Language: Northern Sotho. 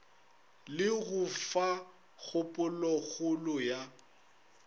le go fa kgopolokgolo ya